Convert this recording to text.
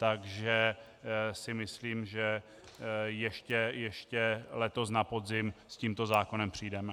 Takže si myslím, že ještě letos na podzim s tímto zákonem přijdeme.